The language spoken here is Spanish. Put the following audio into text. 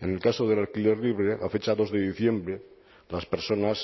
en el caso del alquiler libre a fecha dos de diciembre las personas